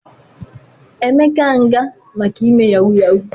Emeka nga maka ime yahoo yahoo